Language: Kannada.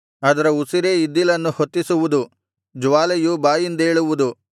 ಅದರ ಉಸಿರೇ ಇದ್ದಲನ್ನು ಹೊತ್ತಿಸುವುದು ಜ್ವಾಲೆಯು ಬಾಯಿಂದೇಳುವುದು